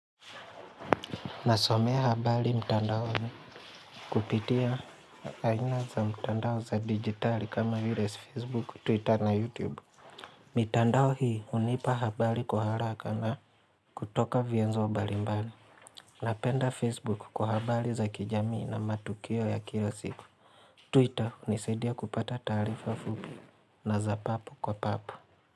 Nasomea habari mtandaoni kupitia aina za mtandao za digitali kama vile Facebook, Twitter na YouTube. Mtandao hii unipa habari kwa haraka na kutoka vyenzo mbalimbali. Napenda Facebook kwa habari za kijamii na matukio ya kila siku. Twitter hunisaidia kupata taarifa fupi na za papu kwa papu.